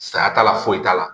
Saya t'a la foyi t'a la